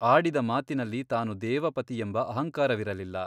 ಆಡಿದ ಮಾತಿನಲ್ಲಿ ತಾನು ದೇವಪತಿಯೆಂಬ ಅಹಂಕಾರವಿರಲಿಲ್ಲ.